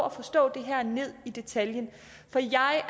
at forstå det her ned i detaljen for jeg